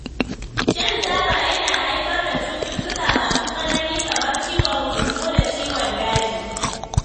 Shan taba yana haifar da cututtuka masu tsanani kamar ciwon huhu da ciwon daji.